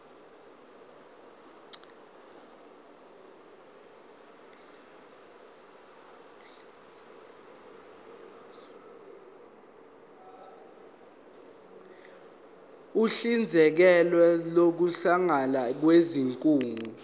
uhlinzekela ukusungulwa kwezigungu